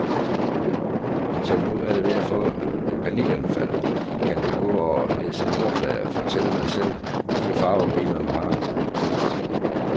Så når du er ved at få et panikanfald, kan du gå og læse nummerplader, fortælle dig selv, hvilke farver bilerne har.